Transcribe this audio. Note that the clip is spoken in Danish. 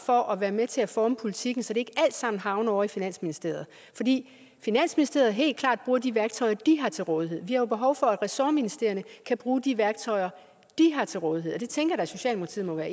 for at være med til at forme politikken så det ikke alt sammen havner ovre i finansministeriet fordi finansministeriet helt klart bruger de værktøjer de har til rådighed vi har jo behov for at ressortministerierne kan bruge de værktøjer de har til rådighed og det tænker at socialdemokratiet må være